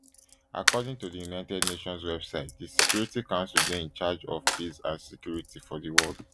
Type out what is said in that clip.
according to di united nations website di security council dey in charge of peace and security for di world